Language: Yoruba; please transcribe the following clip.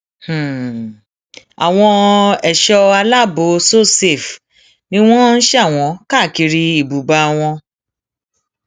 um àwọn ẹṣọ aláàbọ sosafe ni wọn sà wọn káàkiri um ibùba wọn